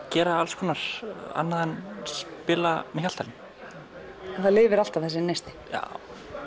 gera alls konar annað en að spila með Hjaltalín en hann lifir alltaf þessi neisti já